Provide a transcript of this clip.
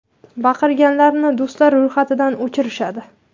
Baqirganlarni do‘stlar ro‘yxatidan o‘chirishadi.